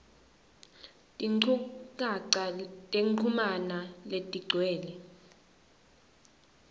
tinchukaca tekuchumana letigcwele